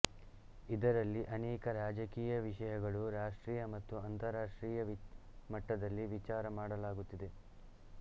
ಇದರಲ್ಲಿ ಅನೇಕ ರಾಜಕೀಯ ವಿಷಯಗಳು ರಾಷ್ಟ್ರೀಯ ಮತ್ತು ಅಂತರಾಷ್ಟ್ರೀಯ ಮಟ್ಟದಲ್ಲಿ ವಿಚಾರ ಮಾಡಲಾಗುತ್ತಿದೆ